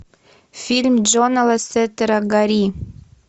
фильм джона лассетера гори